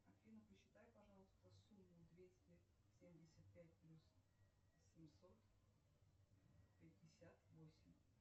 афина посчитай пожалуйста сумму двести семьдесят пять плюс семьсот пятьдесят восемь